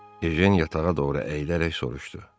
Ejən yatağa doğru əyilərək soruşdu: